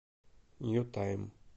нью тайм